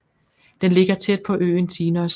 Den ligger tæt på øen Tinos